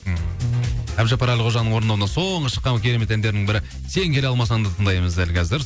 ммм әбдіжаппар әлқожаның орындауында соңғы шыққан керемет әндерінің бірі сен келе алмасаңды тыңдаймыз дәл қазір